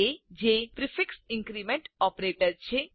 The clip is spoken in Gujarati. a જે પ્રીફિક્સ ઇન્ક્રીમેન્ટ ઓપરેટર છે